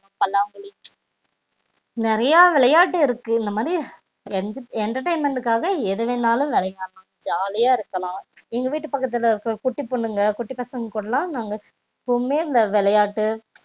பல்லாங்குழி நெறையா விளையாட்டு இருக்கு இந்த மாதிரி entertainment காக எதுவேனாலும் விளையாடலாம் ஜாலி யா இருக்கலாம் எங்க வீட்டு பக்கத்துல இருக்குற குட்டி பொண்ணுங்க குட்டி பசங்க கூட லாம் விளையாட்டு